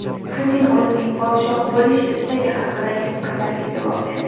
Putin o‘zining podshoh bo‘lish istagi haqidagi fikrlarga javob berdi.